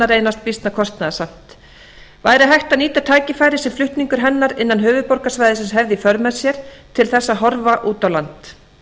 reynast býsna kostnaðarsamt væri hægt að nýta tækifærið sem flutningur hennar innan höfuðborgarsvæðisins hefði í för með sér til þess að horfa út á land